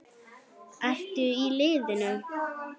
Ertu í liðinu?